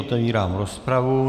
Otevírám rozpravu.